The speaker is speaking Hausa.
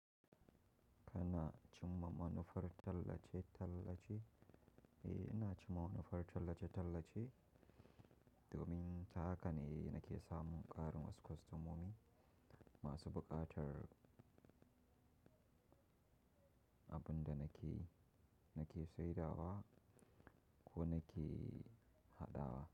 Kanaa chimma manufar tallace tallace, eh, ina cima nufar tallace tallace, dominta akane nake samun ƙarin wasu kwastamomi masu buƙatar abunda nake, nake saidawa ko nake haɗawa.